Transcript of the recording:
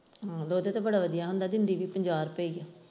ਦੁੱਧ ਤਾਂ ਬੜਾ ਵਧੀਆ ਹੁੰਦਾ ਹੈ ਦਿੰਦੀ ਵੀ ਪੰਜਾਹ ਰੁਪਏ ਹੀ ਹੈ।